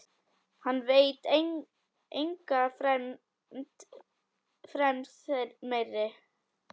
Hann veit enga fremd meiri.